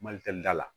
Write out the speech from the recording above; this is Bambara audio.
Mali tɛ da la